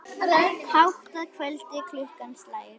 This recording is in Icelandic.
Hátt að kvöldi klukkan slær.